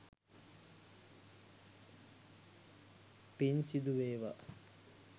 පින් සිදු වේවා!